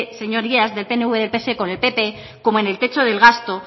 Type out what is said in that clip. señorías del pnv del pse con el pp como en el techo del gasto